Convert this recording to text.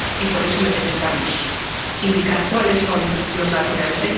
Y por eso necesitamos indicar cuáles son los datos reales.